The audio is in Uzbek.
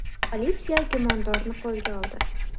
Politsiya gumondorni qo‘lga oldi.